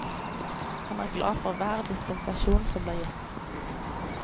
Han er glad for hver dispensasjon som blir gitt.